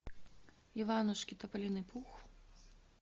иванушки тополиный пух